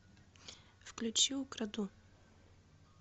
включи украду